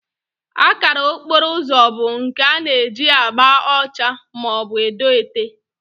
Akara okporo ụzọ bụ nke a na-eji agba ọcha maọbụ edo ete